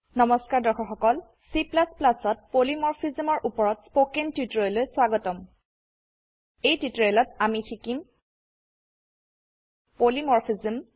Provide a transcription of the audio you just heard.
নমস্কাৰ দৰ্শক সকল CতPolymorphism ৰ উপৰত স্পকেন টিউটোৰিয়েললৈ স্বাগতম এই টিউটোৰিয়েলত আমি শিকিম পলিমৰফিজম